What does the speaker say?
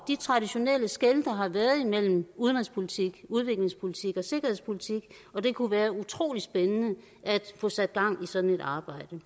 de traditionelle skel der har været imellem udenrigspolitik udviklingspolitik og sikkerhedspolitik og det kunne være utrolig spændende at få sat gang i sådan et arbejde